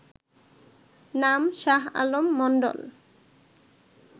নাম শাহ আলম মন্ডল